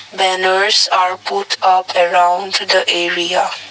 Banners are put up around the area.